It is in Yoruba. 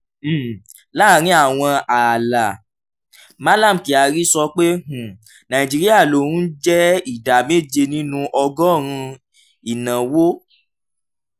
um láàárín àwọn ààlà: mallam kyari sọ pé um nàìjíríà ló ń jẹ́ ìdá méje nínú ọgọ́rùn-ún ìnáwó